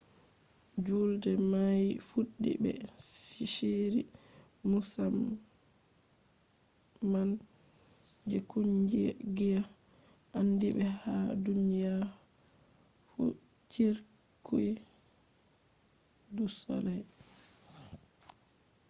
juulde mai fuddi be shiri musamman je kungiya andibe ha duniya fu cirque du soleil